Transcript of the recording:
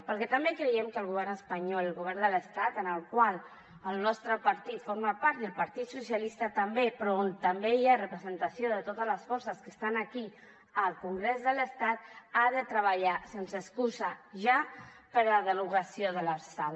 perquè també creiem que el govern espanyol el govern de l’estat del qual el nostre partit forma part i el partit socialista també però on també hi ha representació de totes les forces que estan aquí al congrés de l’estat ha de treballar sense excusa ja per a la derogació de l’lrsal